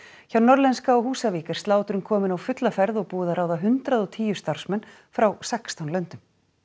hjá Norðlenska á Húsavík er slátrun komin á fulla ferð og búið að ráða hundrað og tíu starfsmenn frá sextán löndum